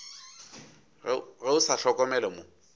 ge o sa hlokomele mo